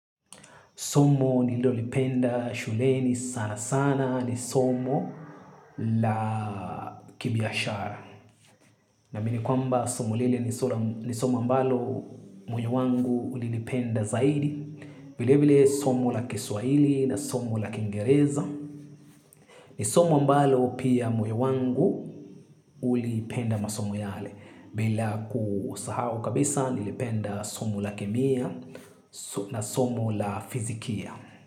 Somo nililolipenda shuleni sana sana ni somo la kibiashara. Naamini kwamba somo lile ni somo ambalo moyo wangu ulilipenda zaidi. Vilevile somo la kiswahili na somo la kiingereza. Ni somo ambalo pia moyo wangu ulipenda masomo yale. Bila kusahau kabisa nilipenda somo la kemia na somo la fizikia.